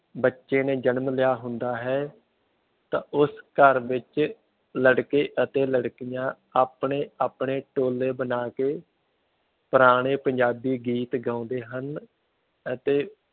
ਬੱਚੇ ਨੇ ਜਨਮ ਲਿਆ ਹੁੰਦਾ ਹੈ ਤਾਂ ਉਸ ਘਰ ਵਿੱਚ ਲੜਕੇ ਅਤੇ ਲੜਕੀਆਂ ਆਪਣੇ ਆਪਣੇ ਟੋਲੇ ਬਣਾ ਕੇ ਪੁਰਾਣੇ ਪੰਜਾਬੀ ਗੀਤ ਗਾਉਂਦੇ ਹਨ ਅਤੇ